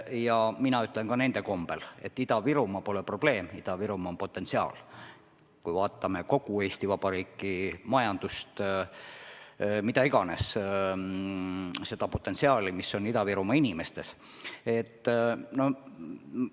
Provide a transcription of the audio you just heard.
Ja mina ütlen ka nende kombel, et Ida-Virumaa pole probleem, Ida-Virumaa on potentsiaal – kui me vaatame kogu Eesti Vabariigi majandust, siis näeme Ida-Virumaa inimestes suurt potentsiaali.